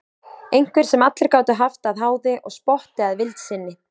Einhver sem allir gátu haft að háði og spotti að vild sinni.